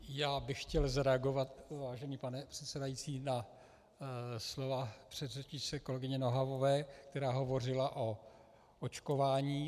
Já bych chtěl zareagovat, vážený pane předsedající, na slova předřečnice, kolegyně Nohavové, která hovořila o očkování.